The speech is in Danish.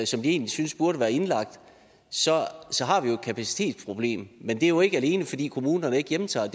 som de egentlig synes burde være indlagt så har vi jo et kapacitetsproblem men det er jo ikke alene fordi kommunerne ikke hjemtager